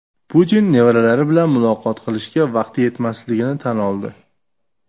Putin nevaralari bilan muloqot qilishga vaqti yetmasligini tan oldi.